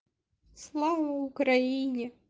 слава украине